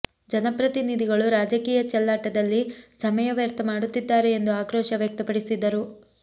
ಜನಪ್ರತಿನಿಧಿಗಳು ರಾಜಕೀಯ ಚೆಲ್ಲಾಟದಲ್ಲಿ ಸಮಯ ವ್ಯರ್ಥ ಮಾಡುತ್ತಿದ್ದಾರೆ ಎಂದು ಆಕ್ರೋಶ ವ್ಯಕ್ತಪಡಿಸಿದರು